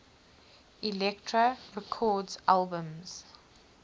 elektra records albums